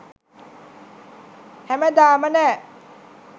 හැමදාම නෑ